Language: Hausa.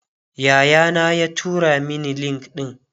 Yaya na ya tura Mani link ɗin